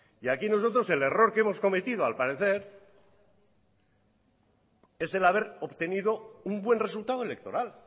aquí nosotros el error que hemos cometido al parecer es el haber obtenido un buen resultado electoral